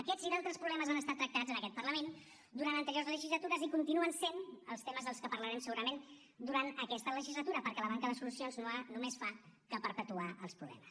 aquests i d’altres problemes han estat tractats en aquest parlament durant anteriors legislatures i continuen sent els temes dels que parlarem segurament durant aquesta legislatura perquè la manca de solucions només fa que perpetuar els problemes